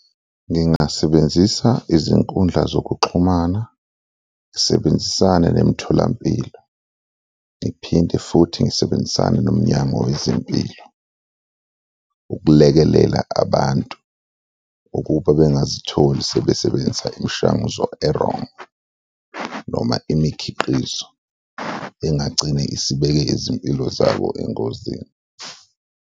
Ngingasebenzisa izinkundla zokuxhumana, ngisebenzisane nemitholampilo ngiphinde futhi ngisebenzisane noMnyango Wezempilo ukulekelela abantu ukuba bengazitholi sebesebenzisa imishanguzo e-wrong noma imikhiqizo engagcine isibeke izimpilo zabo engozini.